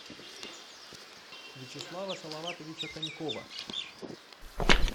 вячеслава салаватовича конькова